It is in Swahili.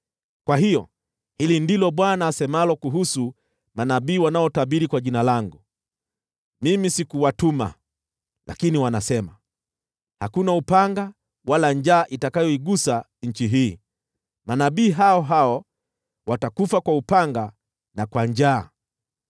Kwa hiyo, hili ndilo Bwana asemalo kuhusu manabii wanaotabiri kwa jina langu: Mimi sikuwatuma, lakini wanasema, ‘Hakuna upanga wala njaa itakayoigusa nchi hii.’ Manabii hao hao watakufa kwa upanga na njaa.